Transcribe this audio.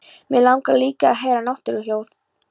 Mig langar líka að heyra náttúruhljóð.